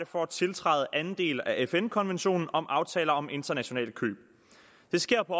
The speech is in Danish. for at tiltræde anden del af fn konventionen om aftaler om internationale køb det sker på